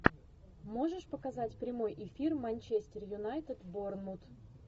можешь показать прямой эфир манчестер юнайтед борнмут